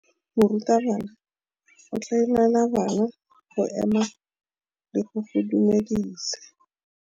Morutabana o tla laela bana go ema le go go dumedisa.